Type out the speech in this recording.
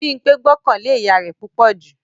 Bímpé gbọ́kàn lé ìyá rẹ̀ púpọ̀ jù